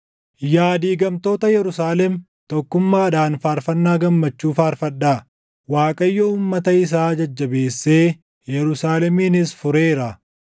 Yaa diigamtoota Yerusaalem tokkummaadhaan faarfannaa gammachuu faarfadhaa; Waaqayyo uummata isaa jajjabeessee Yerusaaleminis fureeraa.